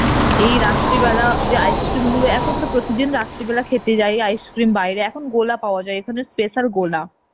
এই রাত্রিবেলা যে ice cream গুলো এখন তো প্রিতিদিন রাত্রি বেলা খেতে যায় ice cream বাইরে এখন গোলা পাওয়া যায় এখানের special গোলা